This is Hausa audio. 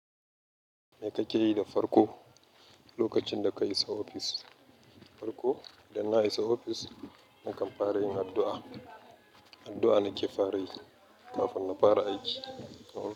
Me kake yi da farko, lokacin da ka iso ofis? Farko, idan na isa ofis, na kan fara yin addu'a. Addu'a nake fara yi kafin in fara yin aiki.